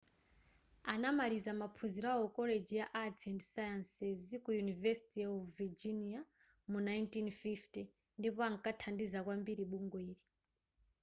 anamaliza maphunziro awo ku college ya arts & sciences ku university of virginia mu 1950 ndipo ankathandiza kwambiri bungweli